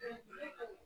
Sanunɛgɛnin yo wa